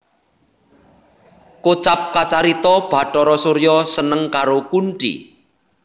Kocap kacarita Bhatara Surya seneng karo Kunthi